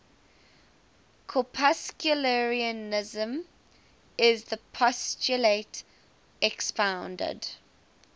corpuscularianism is the postulate expounded